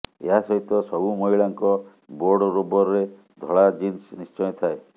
ଏହା ସହିତ ସବୁ ମହିଳାଙ୍କ ବୋର୍ଡରୋବରେ ଧଳା ଜିନ୍ସ ନିଶ୍ଚୟ ଥାଏ